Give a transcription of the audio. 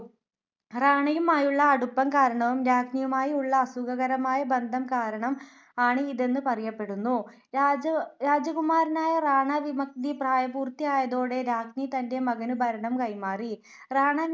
റാണയുമായുള്ള അടുപ്പം കാരണവും രാജ്ഞിയുമായി ഉള്ള അസുഖകരമായ ബന്ധം കാരണം ആണ് ഇതെന്നു പറയപെടുന്നു. രാജകുമാരനായ റാണ വിക്മത്ജി പ്രായപൂർത്തി ആയതോടെ രാജ്ഞി തന്റെ മകനു ഭരണം കൈമാറി. റാണ വിക്മത്ജി തന്റെ അച്ഛന്റെ വിശ്വസ്തനെ ദിവാൻ ആയി തിരിച്ചു കൊണ്ടുവന്നു.